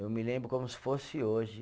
Eu me lembro como se fosse hoje.